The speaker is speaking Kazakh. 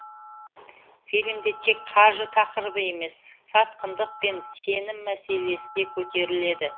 фильмде тек қаржы тақырыбы емес сатқындық пен сенім мәселесі көтеріледі